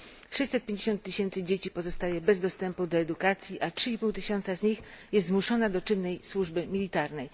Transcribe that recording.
650 tysięcy dzieci pozostaje bez dostępu do edukacji, a 3,5 tysiąca z nich jest zmuszona do czynnej służby wojskowej.